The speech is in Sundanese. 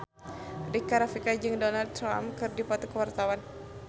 Rika Rafika jeung Donald Trump keur dipoto ku wartawan